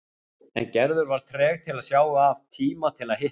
En Gerður var treg til að sjá af tíma til að hitta hann.